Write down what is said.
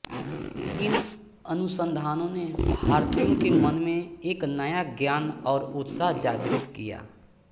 इन अनुसंधानों ने भारतीयों के मन में एक नया ज्ञान और उत्साह जागृत किया